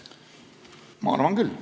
Ma arvan küll.